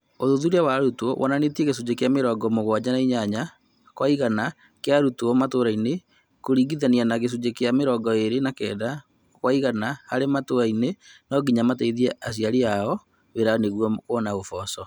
ũthuthuria wa arutwo wonanĩtie gĩcunjĩ kĩa mĩrongo-mũgwanja na inyanya kwa igana kĩa arutwo matũrainĩ kũringithania na gĩcunjĩ kĩa mĩrongo-ĩrĩ na kenda kwa igana arĩa metaũniinĩ nonginya mateithie aciari ao wĩra nĩguo gũetha ũboco.